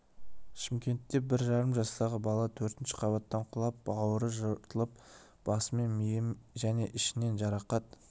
шымкентте бір жарым жастағы бала төртінші қабаттан құлап бауыры жыртылып басы мен миы және ішінен жарақат